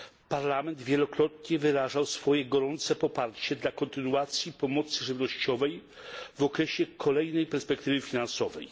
Parlament wielokrotnie wyrażał swoje gorące poparcie dla kontynuacji pomocy żywnościowej w okresie kolejnej perspektywy finansowej.